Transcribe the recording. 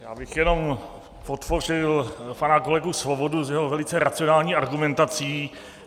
Já bych jenom podpořil pana kolegu Svobodu s jeho velice racionální argumentací.